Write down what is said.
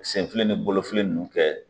Senfili ni bolofili nunnu kɛ